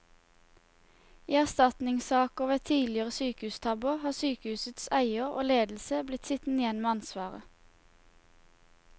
I erstatningssaker ved tidligere sykehustabber har sykehusets eier og ledelse blitt sittende igjen med ansvaret.